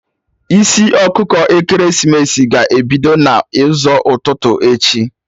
Isi ọkụkọ ekeresimesi ga-ebido n'ụzọ ụtụtụ echi